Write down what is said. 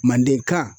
Mandenkan